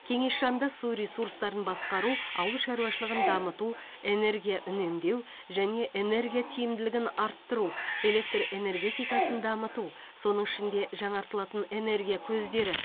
кеңес жанында су ресурстарын басқару ауыл шаруашылығын дамыту энергия үнемдеу және энергия тиімділігін арттыру электр энергетикасын дамыту соның ішінде жаңартылатын энергия көздері